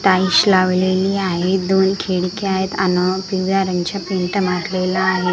टाईलश लावलेली आहे दोन खिडक्या आहेत अन आहे .